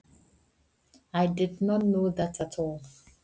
Það vissi ég alls ekki.